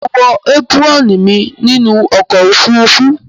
Mo wo apuron mí nínú okò òfurufú